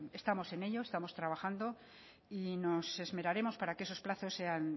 estamos en ello estamos trabajando y nos esmeraremos para que esos plazos sean